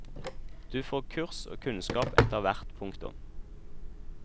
Du får kurs og kunnskap etterhvert. punktum